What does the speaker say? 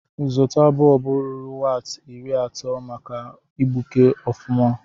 Zụta bọlbụ ruru waati iri atọ maka igbuke ọfụma.